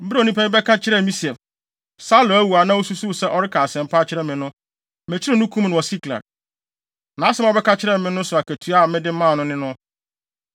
Bere a onipa bi bɛka kyerɛɛ me se, ‘Saulo awu’ a na osusuw sɛ ɔreka asɛm pa akyerɛ me no, mekyeree no kum no wɔ Siklag. Nʼasɛm a ɔbɛka kyerɛɛ me no so akatua a mede maa no ne no.